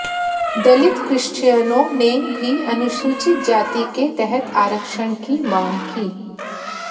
दलित क्रिश्चियनों ने भी अनुसूचित जाति के तहत आरक्षण की मांग की